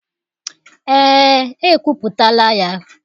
Ee, ekwuputala ya.